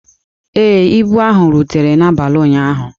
Ee, ibu ahụ rutere n'abalị ụnyaahụ.